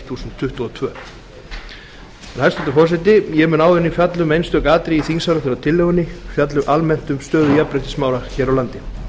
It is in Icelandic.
þúsund tuttugu og tvö hæstvirtur forseti ég mun áður en ég fjalla um einstök atriði í þingsályktunartillögunni fjalla almennt um stöðu jafnréttismála hér á landi